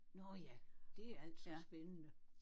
Nåh ja det er altså spændende